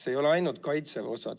See ei ole ainult kaitseväe osa.